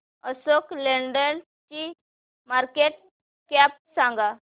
Ashok Leyland ची market cap सांगा